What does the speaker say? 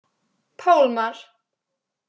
Pálmar